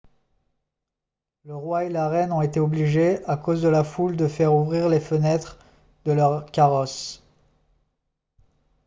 le roi et la reine ont été obligés à cause de la foule de faire ouvrir les fenêtres de leurs carrosses